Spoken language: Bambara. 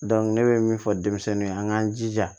ne bɛ min fɔ denmisɛnninw ye an k'an jija